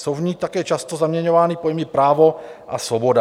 Jsou v ní také často zaměňovány pojmy právo a svoboda.